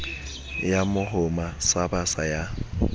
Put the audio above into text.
ya mohoma sa basa ya